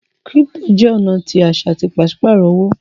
crypto jẹ ọna tí aṣa tí paṣipaarọ owo